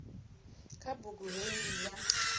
kha bugu hei ndi dza